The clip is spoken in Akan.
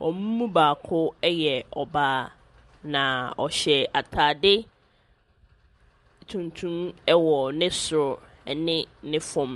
wɔn mu baako yɛ ɔbaa, na ɔhyɛ atade tuntum wɔ ne soro ne ne fam.